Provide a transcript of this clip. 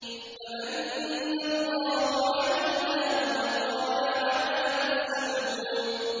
فَمَنَّ اللَّهُ عَلَيْنَا وَوَقَانَا عَذَابَ السَّمُومِ